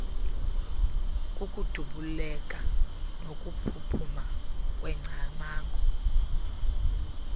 kukudubuleka nokuphuphuma kweengcamango